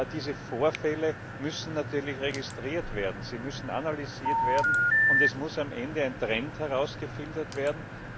Diese Vorfälle müssen natürlich registriert werden, sie müssen analysiert werden, und es muss am Ende ein Trend herausgefiltert werden.